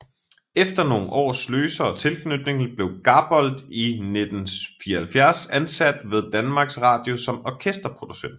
Efter nogle års løsere tilknytning blev Gabold i 1974 ansat ved Danmarks Radio som orkesterproducent